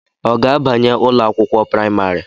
Ọ ga-abanye ụlọakwụkwọ praịmarị?